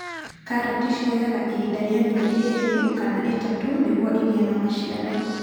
Karati ciyoga ihinda rĩa mĩeri ĩĩrĩ kana ĩtatũ nĩguo ĩgĩe na maciaro.